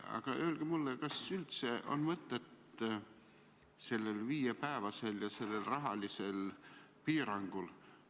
Aga öelge mulle, kas ikka on mõtet sellel viiepäevasel ja sellel rahalisel piirangul.